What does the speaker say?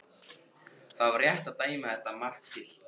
Var það rétt að dæma þetta mark gilt?